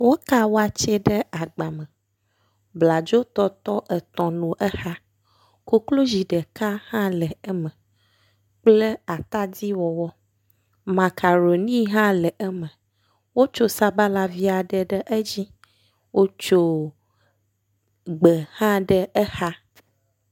Woka watsɛ ɖe agba me. Bladzotɔtɔ etɔ̃ nɔ exa. Koklozi ɖeka hã le eme kple atadiwɔwɔ, makaɖoni hã le eme, wotso sabalavi aɖe ɖe edzi, wotso gbe hã ɖe exa.